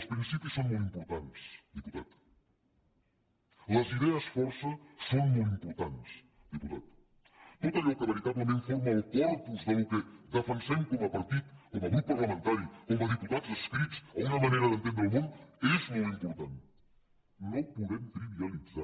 els principis són molt importants diputat les idees força són molt importants diputat tot allò que veritablement forma el corpus del que defensem com a partit com a grup parlamentari com a diputats adscrits a una manera d’entendre el món és molt important no ho podem trivialitzar